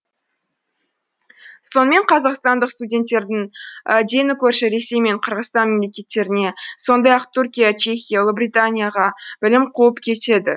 сонымен қазақстандық студенттердің дені көрші ресей мен қырғызстан мемлекеттеріне сондай ақ түркия чехия ұлыбританияға білім қуып кетеді